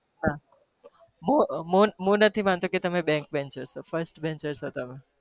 હા હું હું નથી માનતો કે તમે back banchars છો frist banchar છો તમે.